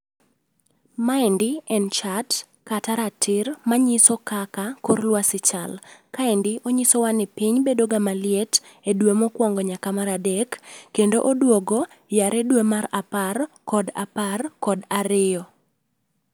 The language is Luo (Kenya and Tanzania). Maendi en chart kata ratir manyiso kaka, kor lwasi chal. Kendi, onyisowa ni piny bedo ga maliet e dwe mokwongo nyaka mar adek, kendo oduogo yare dwe mar apar kod apar kod ariyo